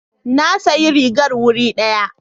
Na sayi rigar wuri ɗari.